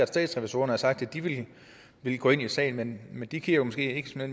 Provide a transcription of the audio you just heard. statsrevisorerne har sagt at de vil gå ind i sagen men men de kigger måske ikke